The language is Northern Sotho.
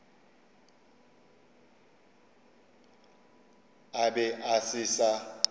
a be a se sa